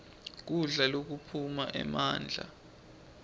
kudla lokuphana emandla